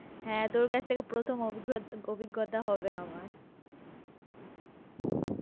হ্যাঁ, তোর কাছ থেকে প্রথম অভিজ্ঞতা হবে আমার